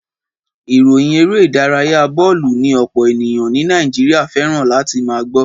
Ìròyìn eré ìdárayá bọ́ọ̀lù ni ọ̀pọ̀ ènìyàn ní Nàìjíríà fẹ́ràn láti máa gbọ́.